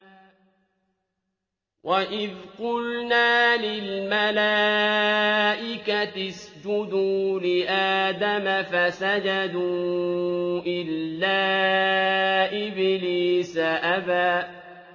وَإِذْ قُلْنَا لِلْمَلَائِكَةِ اسْجُدُوا لِآدَمَ فَسَجَدُوا إِلَّا إِبْلِيسَ أَبَىٰ